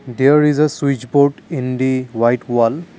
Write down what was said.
there is a switch board in the white wall.